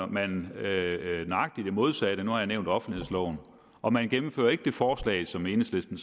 man nøjagtig det modsatte nu har jeg nævnt offentlighedsloven og man gennemfører ikke det forslag som enhedslisten